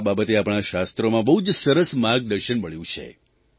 આ બાબતે આપણાં શાસ્ત્રોમાં બહુ સરસ માર્ગદર્શન મળ્યું છે